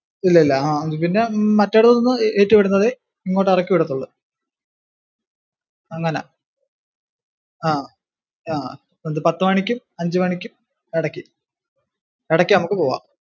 ഇല്ലില്ല. ആ പിന്നെ മറ്റേടത്തുന്ന് കേറ്റി വിടുന്നതെ ഇങ്ങോട്ടു ഇറക്കി വിടത്തുള്ളു. അങ്ങനാ ആഹ് ആഹ് പത്തുമണിക്കും അഞ്ചുമണിക്കും ഇടക്ക്. ഇടയ്ക്കു നമക്ക് പോകാം.